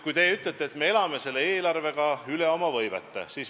Edasi, teie ütlete, et me elame selle eelarvega üle oma võimete.